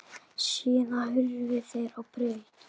Síðan hurfu þeir á braut.